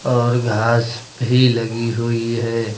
और घास भी लगी हुई है।